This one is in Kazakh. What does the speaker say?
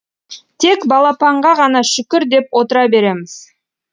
тек балапанға ғана шүкір деп отыра береміз